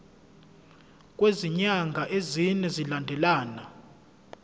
kwezinyanga ezine zilandelana